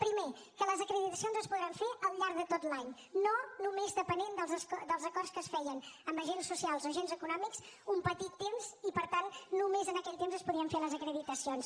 primer que les acreditacions es podran fer al llarg de tot l’any no només depenent dels acords que es feien amb agents socials o agents econòmics un petit temps i per tant només en aquell temps es podien fer les acreditacions